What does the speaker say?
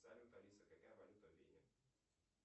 салют алиса какая валюта в вене